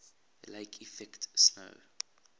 lake effect snow